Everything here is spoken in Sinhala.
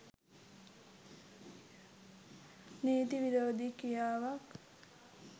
නීති විරෝධී ක්‍රියාවක්